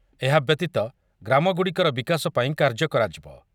ଏହା ବ‍୍ୟତୀତ ଗ୍ରାମଗୁଡ଼ିକର ବିକାଶ ପାଇଁ କାର୍ଯ୍ୟ କରାଯିବ ।